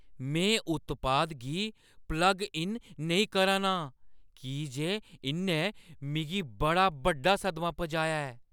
में उत्पाद गी प्लग इन नेईं करा ना आं की जे इʼन्नै मिगी बड़ा बड्डा सदमा पजाया ऐ ।